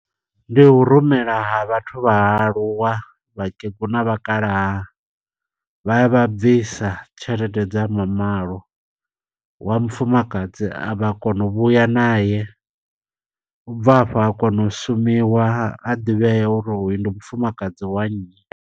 Ndi hu rumela ha vhathu vha aluwa, vhakegulu na vhakalaha, vhaya vha bvisa tshelede dza mamalo. Wa mufumakadzi a vha kona u vhuya naye, ubva hafha ha kona u shumiwa, ha ḓivhea uri hoyu ndi mufumakadzi wa nyi.